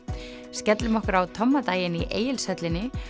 skellum okkur á Tommadaginn í Egilshöllinni